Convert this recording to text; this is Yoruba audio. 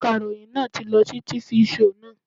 Akaròyìn náà ti lọ sí tifi shoò naa